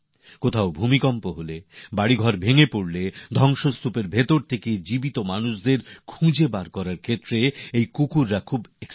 কোথাও ভূমিকম্প হলে বাড়ি ভেঙে পড়লে ধ্বংসস্তুপের নিচ থেকে জীবিত ব্যক্তিদের সন্ধান করে উদ্ধারে কুকুরেরা দারুণ দক্ষ